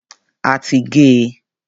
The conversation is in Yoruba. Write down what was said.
A ti gé e.